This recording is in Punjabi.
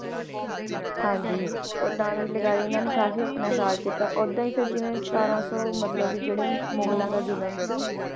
ਹਾਂਜੀ ਓਦਾਂ ਵੀ ਲਗਾਈਏ ਇਹਨਾਂ ਨੇ ਕਾਫ਼ੀ ਆਪਣੇ ਰਾਜ ਕੀਤਾ, ਓਦਾਂ ਹੀ ਫਿਰ ਜਿਵੇਂ ਸਤਾਰਾਂ ਸੌ ਮਤਲਬ ਵੀ ਜਿਹੜੇ ਮੁਗਲਾਂ ਦਾ ਜ਼ੁਲਮ ਸੀ